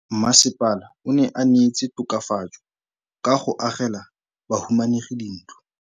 Mmasepala o neetse tokafatsô ka go agela bahumanegi dintlo.